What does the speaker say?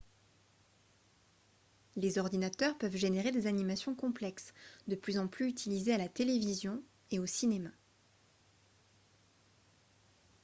les ordinateurs peuvent générer des animations complexes de plus en plus utilisées à la télévision et au cinéma